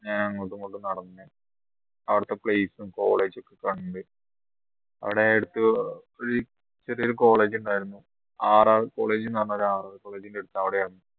ഞാൻ അങ്ങോട്ടുമിങ്ങോട്ടും നടന്നു അവിടുത്തെ place ഉ college ഒക്കെ കണ്ട് അവിടെ അടുത്ത് ഒരു ചെറിയൊരു college ഉണ്ടായിരുന്നു RRcollege ന്ന് പറഞ്ഞ RRcollege ൻറെ അടുത്താണ്